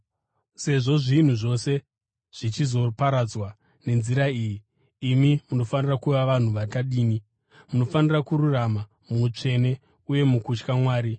Sezvo zvinhu zvose zvichizoparadzwa nenzira iyi, imi munofanira kuva vanhu vakadini? Munofanira kurarama muutsvene uye nomukutya Mwari,